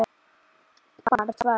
Bara tvær.